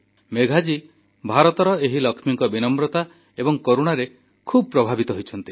ମେଘା ଜୀ ଭାରତର ଏହି ଲକ୍ଷ୍ମୀଙ୍କ ବିନମ୍ରତା ଏବଂ କରୁଣାରେ ଖୁବ୍ ପ୍ରଭାବିତ ହୋଇଛନ୍ତି